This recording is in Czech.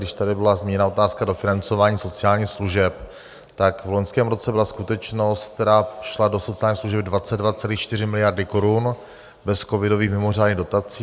Když tady byla zmíněna otázka dofinancování sociálních služeb, tak v loňském roce byla skutečnost, která šla do sociálních služeb, 22,4 miliardy korun bez covidových mimořádných dotací.